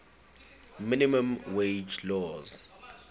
minimum wage laws